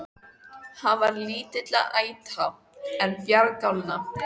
Hann var lítilla ætta, en bjargálna.